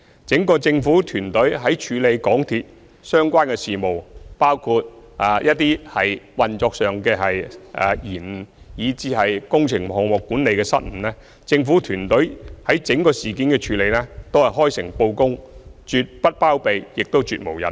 整個政府團隊在處理港鐵公司相關的事務，包括一些運作上的延誤，以至工程項目管理的失誤，都是開誠布公，絕不包庇，亦絕無隱瞞。